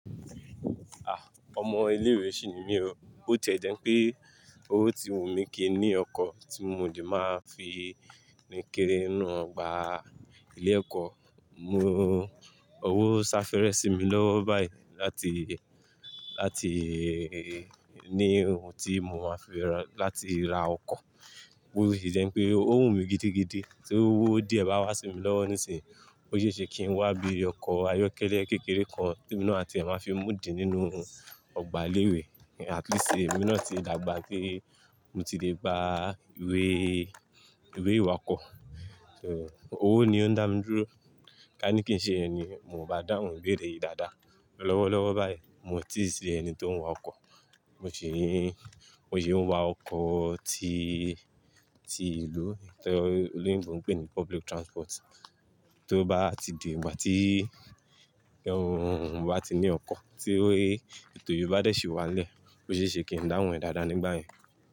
Ah, ọmọ ilé ìwé sì ni mí o, bótì e jẹ́ n pé ó ti wù mí kí ní ọkọ̀ tí mo lè máa fi rìn kiri inú ọgbà ilé ẹ̀kọ́. Mo, owó sá fẹ́rẹ sí mi lọ́wọ́ báyìí láti, láti ní ohun tí mo máa fi rà, láti ra ọkọ̀. Bó sì jẹ́ pé ó wù mí gidigidi tí owó díẹ̀ bá wá sí mi lọ́wọ́ nísìnyí, ó ṣéṣe kí n wá bí ọkọ̀ ayọ́kẹ́lẹ́ kékeré kan tí èmi náà a tí ẹ máa fi mú di nínú ọgbà ilé ìwé. At least èmi náà ti dàgbà pé mo ti lè gba ìwé, ìwé ìwà ọkọ̀. So owó ni ó ń dá mi dúró. Ká ní kí n ṣe ìyẹn ni, mo bá dáhùn ìbéèrè yìí dáadáa. Lọ́wọ́lọ́wọ́ báyìí, mo ti sì ẹni tó ń wa ọkọ̀. Mo ṣì ń, mo sì ń wa ọkọ̀ tí, tí ìlú, ẹ́, tóloyìnbó ńnpè ní public transport. Tó bá ti di ìgbà tí oi, tí n bá ti ní ọkọ̀, tí ètò yìí bá dẹ̀ ṣì wá n lẹ̀, ó ṣéṣe kí n dáhùn dáadáa nígbà yẹn.